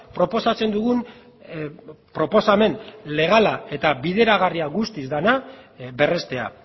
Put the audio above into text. proposatzen dugun proposamen legala eta bideragarria guztiz dena berreztea